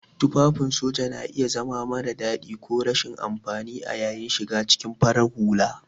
Tufafin soja na iya zama mara dadi ko rashin amfani a yayin shiga cikin farar hula.